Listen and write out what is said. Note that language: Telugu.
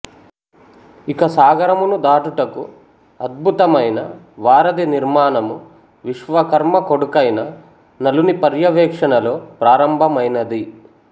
ఇక సాగరమును దాటుటకు అద్భుతమైన వారధి నిర్మాణము విశ్వకర్మ కొడుకైన నలుని పర్యవేక్షణలో ప్రారంభమైనది